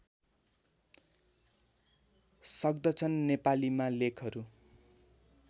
सक्दछन् नेपालीमा लेखहरू